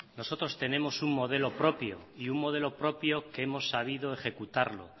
nosotros tenemos un modelo propio y un modelo propio que hemos sabido ejecutarlo